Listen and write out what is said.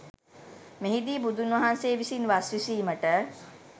මෙහිදී බුදුන්වහන්සේ විසින් වස් විසීමට